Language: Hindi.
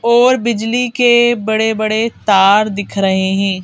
और बिजली के बड़े-बड़े तार दिख रहे हैं।